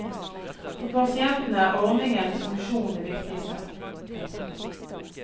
For pasientene er ordningens funksjon det viktigste. punktum